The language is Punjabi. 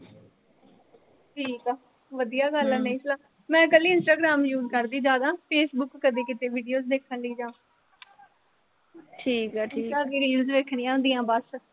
ਠੀਕ ਆ। ਵਧੀਆ ਗੱਲ ਆ ਨਈਂ ਚਲਾਉਂਦੀ। ਮੈਂ ਕੱਲੀ ਇੰਸਟਾਗ੍ਰਾਮ use ਕਰਦੀ ਆਂ, ਜ਼ਿਆਦਾ। ਫੇਸਬੁੱਕ ਕਦੇ ਕਿਤੇ videos ਦੇਖਣ ਲਈ ਜਾਂ ਇੰਸਟਾ ਤੇ reels ਦੇਖਣੀਆਂ ਹੁੰਦੀਆਂ ਬਸ।